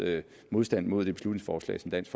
modstand mod det beslutningsforslag som dansk